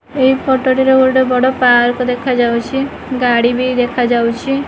ଏହି ଫୋଟୋ ଟିରେ ଗୋଟେ ବଡ଼ ପାର୍କ ଦେଖାଯାଉଛି ଗାଡ଼ି ବି ଦେଖାଯାଉଛି।